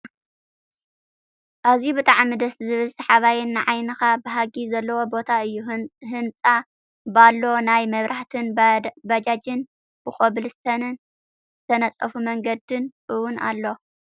ኣዝዩ ብጣዕሚ ደስ ዝብል ስሓበይ ንዓይኒካ ብሃጊ ዘለዎ ቦታ እዩ። ህንፃን ባሎ ናይ መብራህቲን ባጃጅን ብኮብልስቶን ዝተነፀፈ መንገድን እውን ኣሎ ።